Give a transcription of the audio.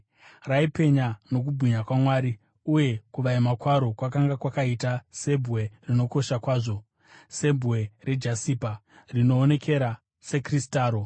Raipenya nokubwinya kwaMwari, uye kuvaima kwaro kwakanga kwakaita sebwe rinokosha kwazvo, sebwe rejasipa, rinoonekera sekristaro.